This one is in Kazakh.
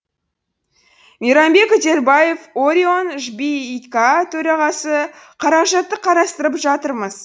мейрамбек үдербаев орион төрағасы қаражатты қарастырып жатырмыз